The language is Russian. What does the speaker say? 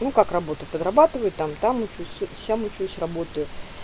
ну как работаю подрабатываю там там учусь сям учусь работаю